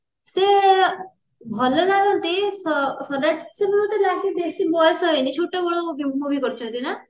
ସେ ଭଲ ଲାଗନ୍ତି ସ୍ଵରାଜ ସେ ବହୁତ ବାକି ବେସି ବୟସ ହେଇନି ଛୋଟ ବେଳୁ movie କରିଛନ୍ତି ନା